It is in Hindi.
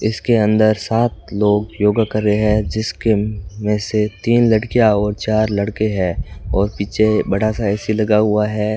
इसके अंदर सात लोग योगा कर रहे हैं जिसके में से तीन लड़कियां और चार लड़के हैं और पीछे बड़ा सा ए_सी लगा हुआ है।